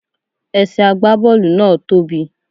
Ẹsẹ̀ àgbá Bọ́ọ̀lù náà tóbì.